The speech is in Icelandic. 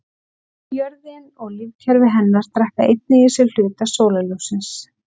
Jörðin og lífkerfi hennar drekka einnig í sig hluta sólarljóssins.